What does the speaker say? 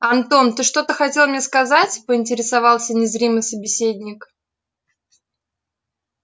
антон ты что-то хотел мне сказать поинтересовался незримый собеседник